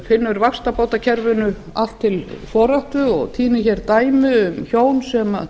finnur vaxtabótakerfinu allt til foráttu og tínir dæmi um hjón sem